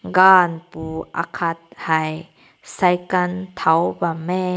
gun pu akat hae cycle taw bam meh.